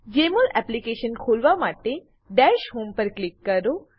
જેમોલ application ખોલવા માટે dash home dash home પર ક્લિક કરો